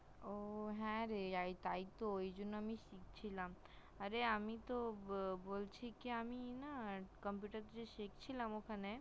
ও হ্যা রে তাই তো ওই জন্য আমি শিখছিলাম অরে আমি তো বলছি কি আমি computer শিখছিলাম ওখানে